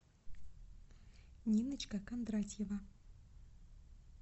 ниночка кондратьева